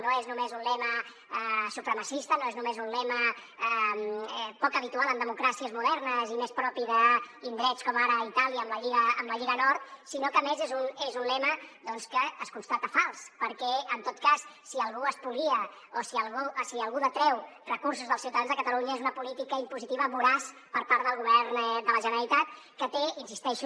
no és només un lema supremacista no és només un lema poc habitual en democràcies modernes i més propi d’indrets com ara itàlia amb la lliga nord sinó que a més és un lema doncs que es constata fals perquè en tot cas si algú espolia o si algú treu recursos dels ciutadans de catalunya és una política impositiva voraç per part del govern de la generalitat que té hi insisteixo